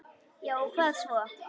Já og hvað svo!